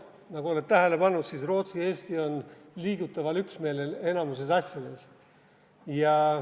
Nagu oled tähele pannud, siis Rootsi ja Eesti on liigutaval üksmeelel enamikus asjades.